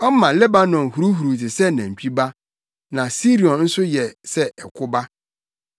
Ɔma Lebanon huruhuruw te sɛ nantwi ba, na Sirion nso sɛ ɛko ba.